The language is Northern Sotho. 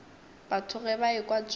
batho ge ba ekwa tšeo